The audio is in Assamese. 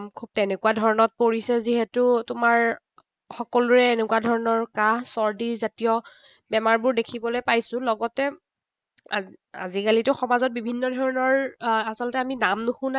খুব তেনেকুৱা ধৰণত পৰিছে যিহেতু তোমাৰ। সকলোৰে এনেকুৱা ধৰণৰ কাঁহ চৰ্দি জাতীয় বেমাৰবোৰ দেখিবলৈ পাইছো। লগতে আজিকালিতো সমাজত বিভিন্ন ধৰণৰ আহ আচলতে আমি নাম নুশুনা